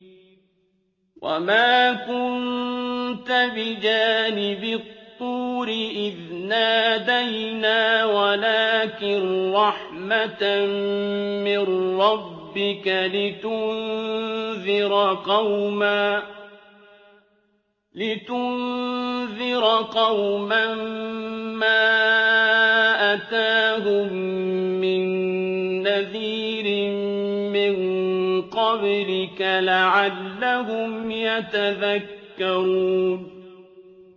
وَمَا كُنتَ بِجَانِبِ الطُّورِ إِذْ نَادَيْنَا وَلَٰكِن رَّحْمَةً مِّن رَّبِّكَ لِتُنذِرَ قَوْمًا مَّا أَتَاهُم مِّن نَّذِيرٍ مِّن قَبْلِكَ لَعَلَّهُمْ يَتَذَكَّرُونَ